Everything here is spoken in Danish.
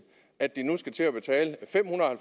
at de nu skal til at betale fem hundrede